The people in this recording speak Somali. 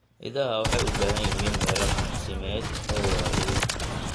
Idaha waxay u baahan yihiin meelo daaqsimeed oo waaweyn.